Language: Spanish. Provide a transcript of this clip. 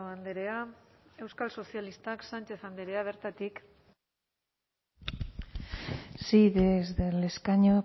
andrea euskal sozialistak sánchez andrea bertatik sí desde el escaño